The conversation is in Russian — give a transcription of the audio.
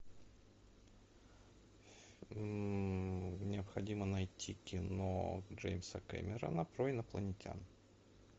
необходимо найти кино джеймса кэмерона про инопланетян